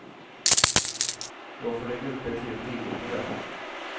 Jag får lägga upp ett helt eget program.